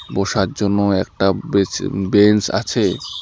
বসার জন্য একটা বেচ-বেঞ্চ আছে।